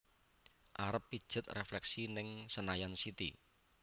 Arep pijet refleksi ning Senayan City